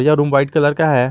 यह room white colour का है।